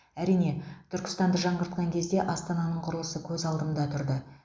әрине түркістанды жаңғыртқан кезде астананың құрылысы көз алдымда тұрды